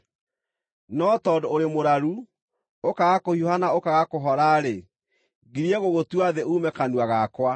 No tondũ ũrĩ mũraru, ũkaaga kũhiũha na ũkaaga kũhora-rĩ, ngirie gũgũtua thĩ uume kanua gakwa.